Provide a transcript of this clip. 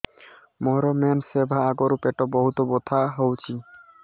ମୋର ମେନ୍ସେସ ହବା ଆଗରୁ ପେଟ ବହୁତ ବଥା ହଉଚି